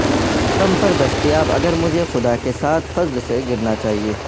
album پر دستیاب اگر مجھے خدا کے ساتھ فضل سے گرنا چاہئے